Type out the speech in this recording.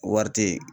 Wari te yen